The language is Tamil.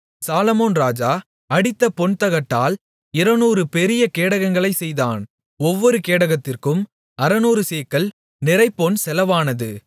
சாலொமோன் ராஜா அடித்த பொன்தகட்டால் 200 பெரிய கேடகங்களைச் செய்தான் ஒவ்வொரு கேடகத்திற்கும் 600 சேக்கல் நிறைபொன் செலவானது